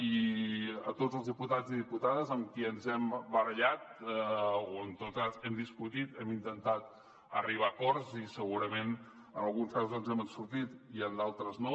i a tots els diputats i diputades amb qui ens hem barallat o en tot cas hem discutit hem intentat arribar a acords i segurament en alguns casos ens n’hem sortit i en d’altres no